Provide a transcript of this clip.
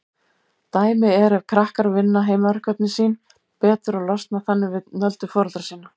Dæmi er ef krakkar vinna heimaverkefnin sín betur og losna þannig við nöldur foreldra sinna.